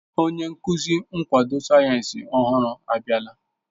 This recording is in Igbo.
Onye nkuzi nkwado sayensị ọhụrụ abịala.